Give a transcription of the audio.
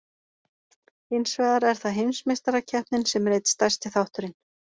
Hins vegar er það Heimsmeistarakeppnin sem er einn stærsti þátturinn.